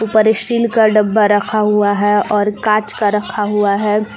पर स्टील का डब्बा रखा हुआ है और कांच का रखा हुआ है।